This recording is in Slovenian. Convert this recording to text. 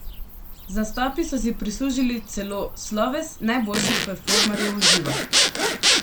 Z nastopi so si prislužili celo sloves najboljših performerjev v živo.